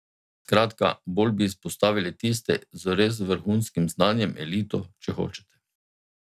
Skratka, bolj bi izpostavili tiste z res vrhunskim znanjem, elito, če hočete.